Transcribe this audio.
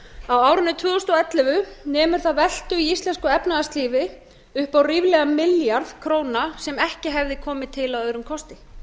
árinu tvö þúsund og ellefu nemur það veltu í íslensku efnahagslífi upp á ríflega milljarð króna sem ekki hefði komið til að öðrum kosti